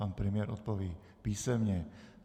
Pan premiér odpoví písemně.